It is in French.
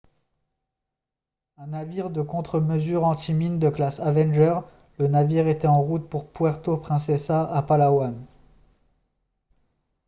un navire de contre-mesures anti-mines de classe avenger le navire était en route pour puerto princesa à palawan